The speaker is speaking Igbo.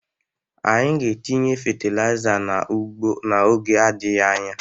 Anyị ga-etinye fatịlaịza n'ugbo n'oge adịghị anya.